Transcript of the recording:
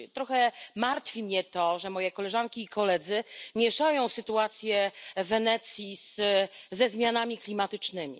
Trochę martwi mnie to, że moje koleżanki i koledzy mieszają sytuację w Wenecji ze zmianami klimatycznymi.